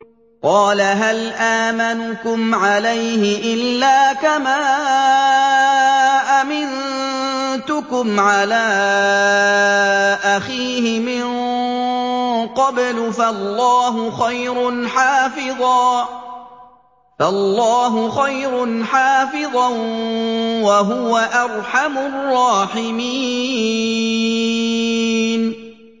قَالَ هَلْ آمَنُكُمْ عَلَيْهِ إِلَّا كَمَا أَمِنتُكُمْ عَلَىٰ أَخِيهِ مِن قَبْلُ ۖ فَاللَّهُ خَيْرٌ حَافِظًا ۖ وَهُوَ أَرْحَمُ الرَّاحِمِينَ